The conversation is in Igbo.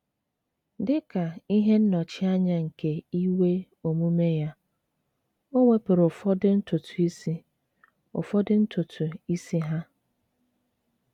Dị ka ihe nnọchianya nke iwe omume ya, o wepụrụ ụfọdụ ntutu isi ụfọdụ ntutu isi ha.